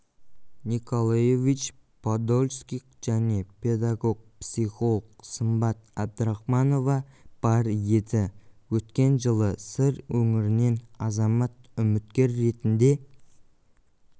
николаевич подольских және педагог-психолог сымбат әбдірахманова бар еді өткен жылы сыр өңірінен азамат үміткер ретінде